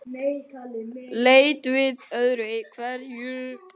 Leit við öðru hverju.